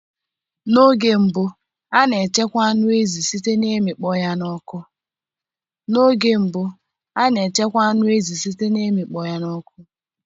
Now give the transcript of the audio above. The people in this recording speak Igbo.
N'oge mbụ a na echekwa anụ ezi site na imikpo ya n'oku